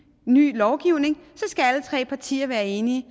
ny lovgivning skal alle tre partier være enige